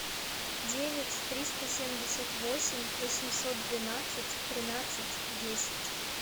девять триста семьдесят восемь восемьсот двенадцать тринадцать десять